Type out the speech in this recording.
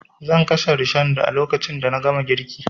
Zan kashe rishon a lokacin da na gama girkin